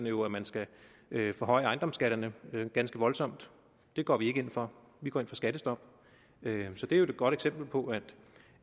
jo at man skal forhøje ejendomsskatterne ganske voldsomt det går vi ikke ind for vi går ind for skattestop så det er jo et godt eksempel på